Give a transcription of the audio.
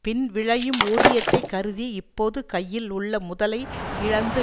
பின் விளையும் ஊதியத்தை கருதி இப்போது கையில் உள்ள முதலை இழந்து